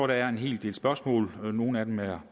der er en hel del spørgsmål nogle af dem er